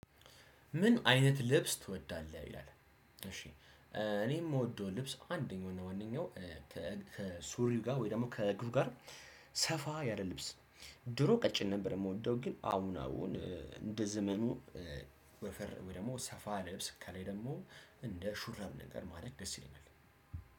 ምን አይነት ልብስ ትወዳለህ ይላል? እሺ እኔ የምወደው ልብስ አንደኛውና ዋነኛው ከሱሪው ጋር ወይም ደግሞ ከእግሩ ጋር ሰፋ ያለ ልብስ። ድሮ ቀጭን ነበር የምወደው ግን አሁን አሁን እንደ ዘመኑ። ወፈር ወይ ደግሞ ሰፋ ያለ ልብስ ከላይ ደግሞ እንደ ሹራብ ነገር ማድረግ ደስ ይለኛል።